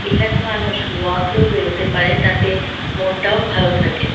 এখানে মানুষ ওয়াকেও বেরোতে পারে তাতে মনটাও ভালো থাকে।